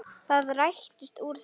Það rættist úr þessu.